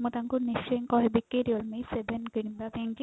ମୁଁ ତାଙ୍କୁ ନିଶ୍ଚୟ କହିବି କି realme seven କିଣିବା ପାଇଁ କି